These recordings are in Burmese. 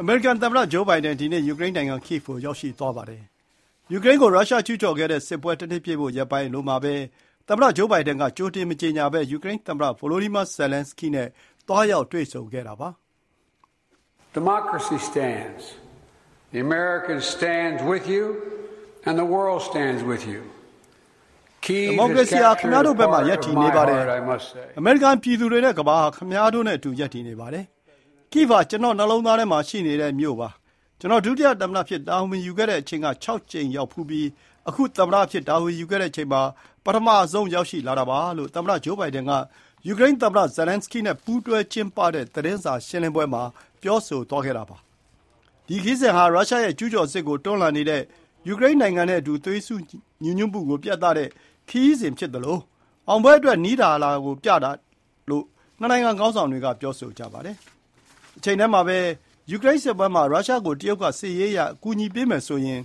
အမေရိကန် သမ္မတ Joe Biden ဒီနေ့ ယူကရိန်းနိုင်ငံ Kyvi ကို ရောက်ရှိသွားပါတယ်။ ယူကရိန်းကို ရုရှားကျုးကျော်ခဲ့တဲ့ စစ်ပွဲ တနှစ်ပြည့်ဖို့ ရက်ပိုင်းပဲအလိုမှာပဲ သမ္မတ Joe Biden က ကြိုတင် မကြေညာဘဲ ယူကရိန်းသမ္မတ Volodymyr Zelenskyy နဲ့ သွားရောက် တွေ့ဆုံတာပါ။ ဒီမိုကရေစီဟာ ခင်ဗျားတို့ဘက်မှာ ရပ်တည်နေပါတယ်၊ အမေရိကန် ပြည်သူတွေနဲ့ ကမ္ဘာဟာ ခင်ဗျားတို့နဲ့အတူ ရပ်တည်နေပါတယ်။ Kyiv ဟာ ကျနော့နှလုံးသားထဲမှာ ရှိနေတဲ့မြို့ ဖြစ်ပါတယ်။ ကျနော် ဒုသမ္မတအဖြစ် တာဝန်ယူခဲ့တဲ့အချိန်က ၆ ကြိမ်ရောက်ဖူးပြီး အခု သမ္မတအဖြစ် တာဝန်ယူခဲ့တဲ့အချိန်မှာ ပထမဆုံးရောက်လာတာပါလို့ သမ္မတ Joe Biden က ယူကရိန်းသမ္မတ Zelenskyy နဲ့ ပူးတွဲကျင်းပတဲ့ သတင်းစာရှင်းလင်းပွဲမှာ ပြောဆိုသွားတာပါ။ ဒီခရီးစဉ်ဟာ ရုရှားရဲ့ ကျုးကျော်စစ်ကို တွန်းလှန်နေတဲ့ ယူကရိန်းနိုင်ငံနဲ့အတူ သွေးစည်းညီညွတ်မှုကို ပြသတဲ့ ခရီးစဉ်ဖြစ်သလို အောင်ပွဲအတွက် နီးလာတာကို ပြသတာလို့ နှစ်နိုင်ငံခေါင်းဆောင်တွေက ပြောဆိုပါတယ်။ တချိန်တည်းမှာ ယူကရိန်းစစ်ပွဲမှာ ရုရှားကို တရုတ်က စစ်ရေးအရ အကူအညီပေးမယ်ဆိုရင်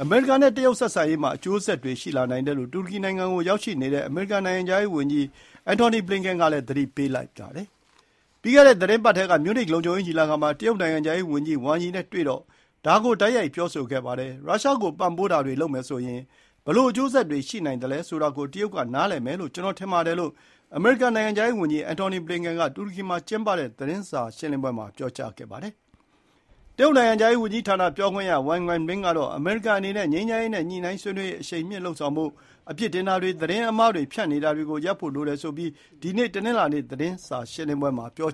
အမေရိကန် နဲ့ တရုတ် ဆက်ဆံရေး မှာ အကျိုးဆက်တွေရှိလာနိုင်တယ်လို့ တူရကီနိုင်ငံကို ရောက်နေတဲ့ အမေရိကန်နိုင်ငံခြားရေးဝန်ကြီး Antony Blinken ကလည်း သတိပေးပြောဆိုပါတယ်။ ပြီးခဲ့တဲ့သီတင်းပတ်ထဲ မြူးနစ် လုံခြုံရေး ညီလာခံ မှာ တရုတ် နိုင်ငံခြားရေး ဝန်ကြီး ဝမ်ယီနဲ့ တွေ့တော့ ဒါ ကို တိုက်ရိုက် ပြောဆိုခဲ့ပါတယ်။ ရုရှား ကိုပံ့ပိုးတာတွေ လုပ်မယ်ဆိုရင် ဘယ်လိုအကျိုးဆက်တွေ ရှိနိုင်သလဲ ဆိုတာ ကို တရုတ် က နားလည်မယ်လို့ ကျွန်တော် ထင်ပါတယ်လို့ အမေရိကန် နိုင်ငံခြားရေး ဝန်ကြီး Antony Blinken က တူရကီမှာကျင်းပတဲ့ သတင်းစာရှင်းလင်းပွဲမှာပြောကြားခဲ့တာပါ။ တရုတ် နိုင်ငံခြားရေး ဝန်ကြီးဌာန ပြောခွင့်ရ Wang Wenbin ကတော့ အမေရိကန်အနေနဲ့ ငြိမ်းချမ်းရေး နဲ့ ညှိုနှိုင်းဆွေးနွေးရေး အရှိန်မြှင့်လုပ်ဆောင်ဖို့၊ အပြစ်တင်တာတွေ ၊ သတင်းအမှားတွေ ဖြန့်နေတာတွေ ရပ်ဖို့ လိုတယ်ဆိုပြီး ဒီနေ့ တနင်္လာနေ့ သတင်းစာရှင်းလင်းပွဲ မှာ ပြော